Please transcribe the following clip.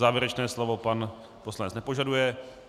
Závěrečné slovo pan poslanec nepožaduje.